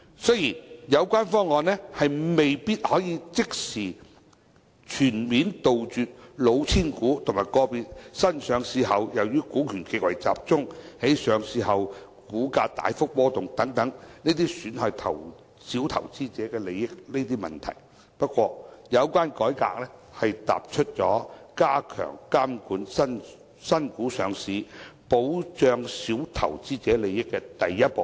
雖然有關方案未必可以即時及全面杜絕"老千股"和個別新股上市後由於股權極為集中，在上市後股價大幅波動等損害小投資者利益的問題。不過，有關改革踏出加強監管新股上市，保障小投資者利益的第一步。